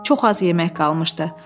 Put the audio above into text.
Çox az yeməkləri qalmışdı.